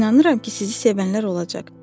İnanıram ki, sizi sevənlər olacaq.